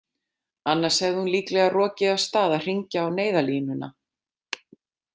Annars hefði hún líklega rokið af stað að hringja á neyðarlínuna.